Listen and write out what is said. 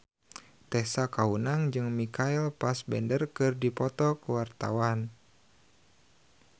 Tessa Kaunang jeung Michael Fassbender keur dipoto ku wartawan